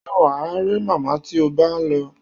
Ṣé wà á rí màmá tí o bá lọ?